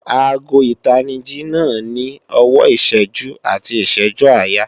Aago ìtanijí náà ní ọwọ́ ìṣẹ́jú àti ìṣẹ́jú-àyà